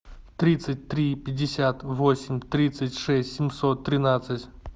тридцать три пятьдесят восемь тридцать шесть семьсот тринадцать